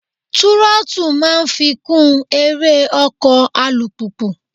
Túrọ́tù máa ń fikùn eré ọkọ̀ alùpùpù.